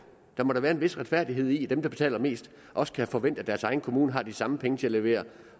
der må da være en vis retfærdighed i at dem der betaler mest også kan forvente at deres egen kommune har de samme penge til at levere